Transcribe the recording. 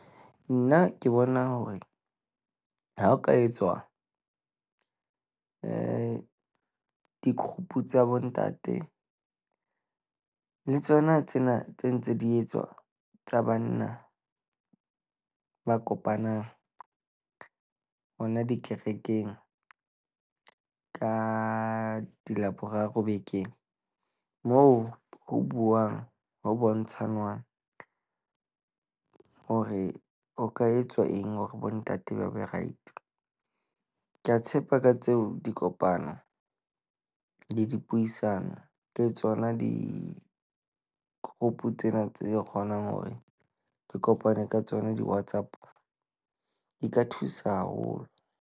Nna ke bona hore ha ho ka etswa di-group tsa bontate le tsona tsena tse ntse di etswa tsa banna. Ba kopana hona dikerekeng ka di Laboraro bekeng moo ho buuwang ho bontshanwang hore o ka etsa eng hore bontate ba be right. Ke a tshepa ka tseo dikopano le dipuisano le tsona di-group tsena tse kgonang hore re kopane ka tsona di-WhatsApp di ka thusa haholo.